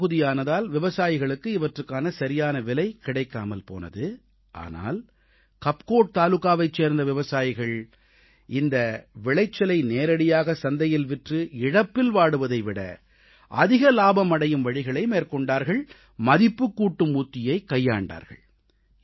மலைப்பகுதி ஆனதால் விவசாயிகளுக்கு இவற்றுக்கான சரியான விலை கிடைக்காமல் போனது ஆனால் கப்கோட் தாலுகாவைச் சேர்ந்த விவசாயிகள் இந்த விளைச்சலை நேரடியாக சந்தையில் விற்று இழப்பில் வாடுவதை விட அதிக இலாபம் அடையும் வழிகளை மேற்கொண்டார்கள் மதிப்புக்கூட்டும் உத்தியைக் கைக்கொண்டார்கள்